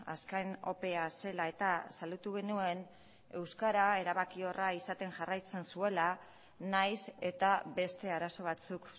azken opea zela eta salatu genuen euskara erabakiorra jarraitzen zuela nahiz eta beste arazo batzuk